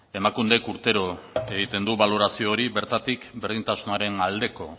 emakundek urtero egiten du balorazio hori bertatik berdintasunaren aldeko